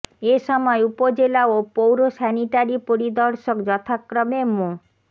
এ সময় উপজেলা ও পৌর স্যানিটারি পরিদর্শক যথাক্রমে মো